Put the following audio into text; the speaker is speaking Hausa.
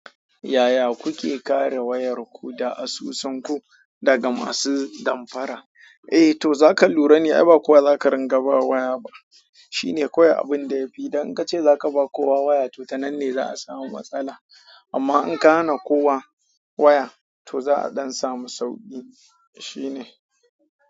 Yaya kuke kare wayarku da asusunku daga masu damfara? Eh to zaka lura ne, ai ba kowa zaka ringa bawa waya ba. Shine kawai abin da ya fi. Dan in ka ce za ka ba kowa waya to ta nan ne za a samu matsala. Amma in ka hana kowa waya to za a ɗan samu sauƙi. Shine.